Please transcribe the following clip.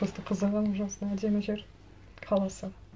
просто қызығып ужасно әдемі жер қаласы